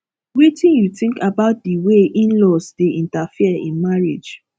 wetin you think about di way inlaws dey interfere in marriage